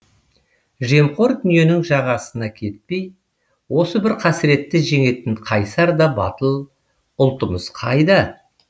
жемқор дүниенің жағасына кетпей осы бір қасіретті жеңетін қайсар да батыл ұлтымыз қайда